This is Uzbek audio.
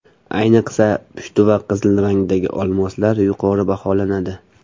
Ayniqsa pushti va qizil rangdagi olmoslar yuqori baholanadi.